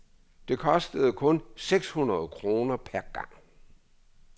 Det kostede kun seks hundrede kroner per gang.